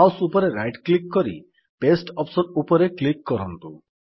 mouse ଉପରେ right click କରି paste option ଉପରେ କ୍ଲିକ୍ କରନ୍ତୁ